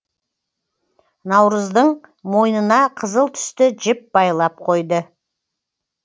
наурыздың мойнына қызыл түсті жіп байлап қойды